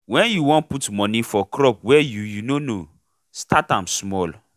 wen you won put moni for crop wey you you nor know start am small